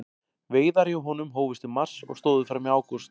Veiðar hjá honum hófust í mars og stóðu fram í ágúst.